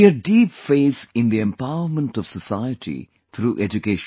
She had deep faith in the empowerment of society through education